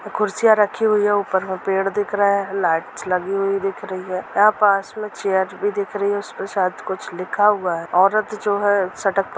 खुर्सिया रखी हुई है ऊपर में पेड़ दिख रहे है लाईटस लगी हुई दिख रही है यहा पास में चेयर भी दिख रही है उसपे शायद कुछ लिखा हुआ हैं। औरत जो है सटक--